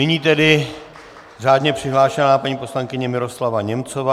Nyní tedy řádně přihlášená paní poslankyně Miroslava Němcová.